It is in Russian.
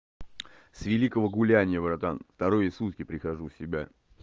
с великого гуляния братан вторые сутки прихожу в себя